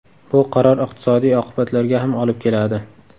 Bu qaror iqtisodiy oqibatlarga ham olib keladi.